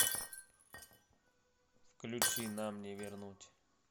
включи нам не вернуть